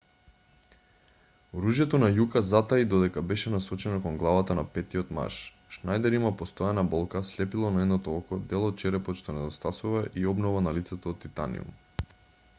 оружјето на јука затаи додека беше насочено кон главата на петтиот маж шнајдер има постојана болка слепило на едното око дел од черепот што недостасува и обнова на лицето од титаниум